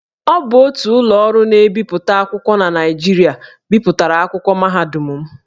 Ọ bụ otu ụlọ ọrụ na-ebipụta akwụkwọ na Naịjirịa bipụtara akwụkwọ mahadum m